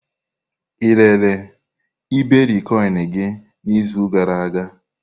Ị rere iberikoinu gị n'izu gara aga?